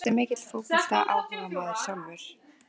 Ertu mikill fótboltaáhugamaður sjálfur?